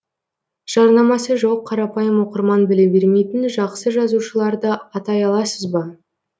жарнамасы жоқ қарапайым оқырман біле бермейтін жақсы жазушыларды атай аласыз ба